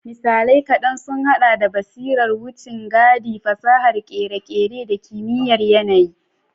Misalai kaɗan sun haɗa da basirar wucin gadi, fasahar kere-kere, da kimiyyar yanayi.